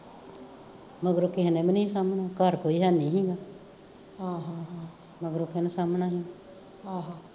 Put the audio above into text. ਮਗਰੋਂ ਕਿਸੀ ਨੇ ਵੀ ਨੀ ਸੀ ਸਾਂਬਣਾ ਘਰ ਕੋਈ ਹੈ ਨੀ ਸੀ ਮਗਰੋਂ ਕਿਹਨੇ ਸਾਂਬਣਾ ਸੀ